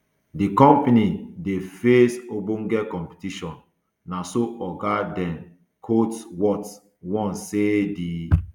di company now dey face ogbonge competition na so oga dan coatsworth warn say di